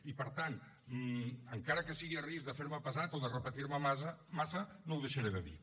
i per tant encara que sigui a risc de fer me pesat o de repetir me massa no ho deixaré de dir